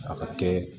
A ka kɛ